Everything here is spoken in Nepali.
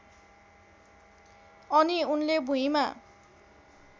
अनि उनले भुइँमा